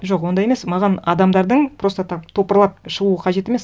жоқ ондай емес маған адамдардың просто так топырлап шығуы қажет емес